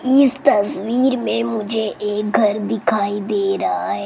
इस तस्वीर में मुझे एक घर दिखाई दे रहा है।